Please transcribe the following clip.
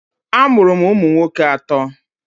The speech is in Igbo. A mụrụ m ụmụ nwoke atọ.